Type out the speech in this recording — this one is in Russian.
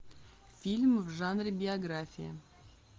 фильм в жанре биография